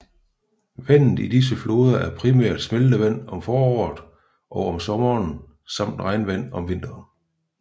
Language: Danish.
Vandet i disse floder er primært smeltevand om foråret og sommeren samt regnvand om vinteren